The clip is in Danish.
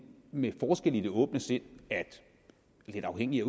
med forskelle i det åbne sind lidt afhængigt af